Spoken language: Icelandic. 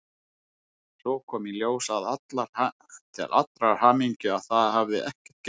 Svo kom í ljós til allrar hamingju að það hafði ekkert gerst.